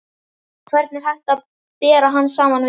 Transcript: Hvern er hægt að bera hann saman við?